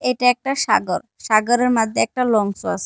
এটা একটা সাগরসাগরের মাদ্ধে একটা লঞ্চ ও আছে।